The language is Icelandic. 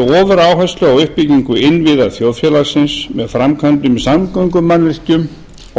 ofuráherslu á uppbyggingu innviða þjóðfélagsins með framkvæmdum í samgöngumannvirkjum